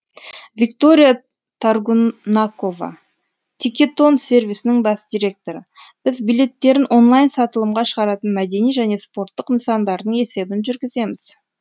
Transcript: виктория торгунакова тикетон сервисінің бас директоры біз билеттерін онлайн сатылымға шығаратын мәдени және спорттық нысандардың есебін жүргіземіз